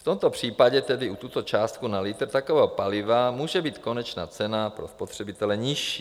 V tomto případě tedy u této částky na litr takového paliva může být konečná cena pro spotřebitele nižší.